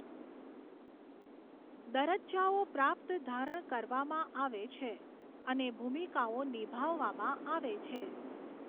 દરજ્જાઓ પ્રાપ્ત ધારણ કરવામાં આવે છે અને ભૂમિકાઓ નિભાવવામાં આવે છે.